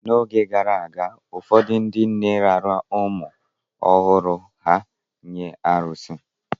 N’oge gara aga, ụfọdụ ndị nne raara ụmụ ọhụrụ ha nye arụsị